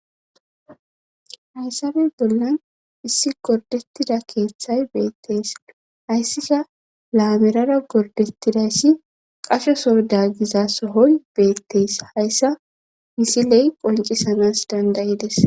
Hayssabe bollan issi gordettida keeththay beettees hayssika laamerara gordettidayssi qasho soda giza sohoy beettees hayssa misiley qoncisanas dandayides.